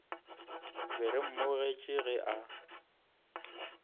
be re mmogetše ge a